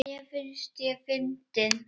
Mér finnst ég fyndin.